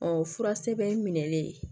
Ɔ fura sɛbɛn minɛli